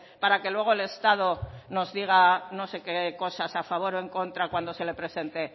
para que luego el estado nos diga no sé qué cosas a favor o en contra cuando se les presente